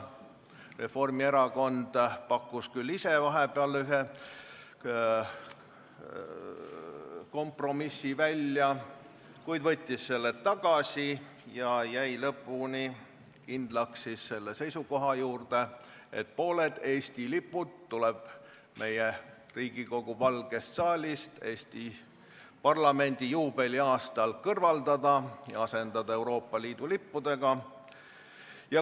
Reformierakond pakkus vahepeal ühe kompromissi välja, kuid võttis selle tagasi ja jäi lõpuni kindlaks seisukohale, et pooled Eesti lipud tuleb Riigikogu Valgest saalist Eesti parlamendi juubeli aastal kõrvaldada ja asendada Euroopa Liidu lippudega.